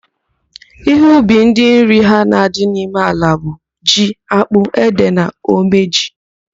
Ihe ubi ndị nri ha na-adị n'ime ala bụ: ji, ákpụ́, édè na omeji.